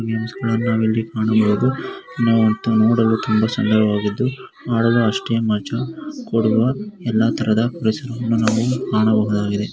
ಗೇಮ್ಸ್ಗಳನ್ನ ನಾವಿಲ್ಲಿ ಕಾಣಬಹುದು. ನಾವತ್ತಾ ನೋಡಲು ತುಂಬಾ ಸುಂದರವಾಗಿದ್ದು ಆಡಲು ಅಷ್ಟೇ ಮಜಾ. ಕೊಡುವ ಎಲ್ಲ ತರದ ಗಳನ್ನು ನಾವು ಕಾಣಬಹುದಾಗಿದೆ.